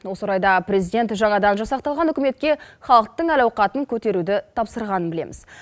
осы орайда президент жаңадан жасақталған үкіметке халықтың әл ауқатын көтеруді тапсырғанын білеміз